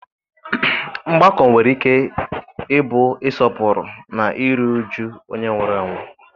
Mgbakọ nwere ike ịbụ ịsọpụrụ na iru uju onye nwụrụ anwụ.